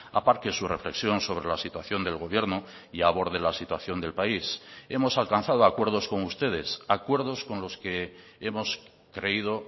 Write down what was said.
aparque su reflexión sobre la situación del gobierno y aborde la situación del país hemos alcanzado acuerdos con ustedes acuerdos con los que hemos creído